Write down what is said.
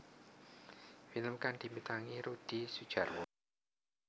Film kang dibintangi Rudi Sudjarwo